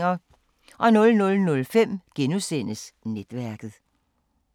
00:05: Netværket *